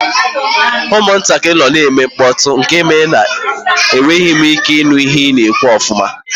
Ụmụntakịrị nọ na-eme mkpọtụ nke mere na enweghị m ike ịnụ ihe ị na-ekwu ọfụma